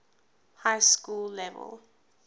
high school level